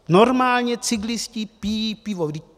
Normálně cyklisté pijí pivo.